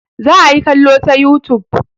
Za a yi kallo ta youtube.